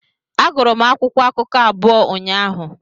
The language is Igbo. Agụrụ m akwụkwọ akụkọ abụọ ụnyaahụ.